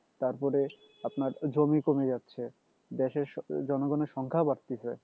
তারপরে আপনার জমি কমে যাচ্ছে দেশের জনগণের সংখ্যা বাড়তিছে